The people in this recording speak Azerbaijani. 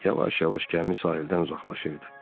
Yavaş-yavaş gəmi sahildən uzaqlaşırdı.